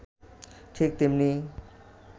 ঠিক তেমনি